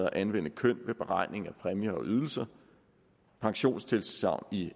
at anvende køn ved beregning af præmier og ydelser pensionstilsagn i